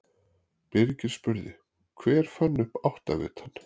Birgir spurði: Hver fann upp áttavitann?